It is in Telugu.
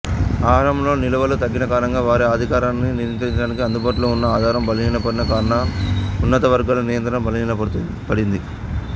ఆహారంలో నిలువలు తగ్గినకారణంగా వారి అధికారాన్ని నియంత్రించడానికి అందుబాటులో ఉన్న ఆధారం బలహీనపడిన కారణంగా ఉన్నతవర్గాల నియంత్రణ బలహీనపడింది